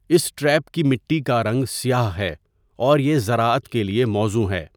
اس trap کی مٹی کا رنگ سیاہ ہے اور یہ زراعت کے لیے موزوں ہے۔